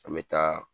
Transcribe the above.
An bɛ taa